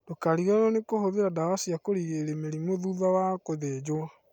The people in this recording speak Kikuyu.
Ndũkariganirwo nĩ kũhũthĩra ndawa cia kũrigĩrĩria mĩrimũ thutha wa gũthĩnjwo